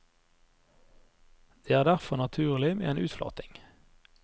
Det er derfor naturlig med en utflating.